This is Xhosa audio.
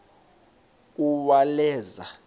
uwaleza